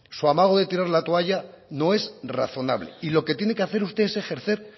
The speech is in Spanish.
su amago de tirar la toalla no es razonable y lo que tiene que hacer usted es ejercer